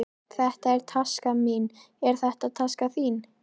Þetta er taskan mín. Er þetta taskan þín?